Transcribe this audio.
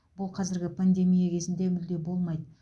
бұл қазіргі пандемия кезінде мүлде болмайды